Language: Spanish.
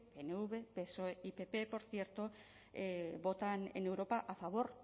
pnv psoe y pp por cierto votan en europa a favor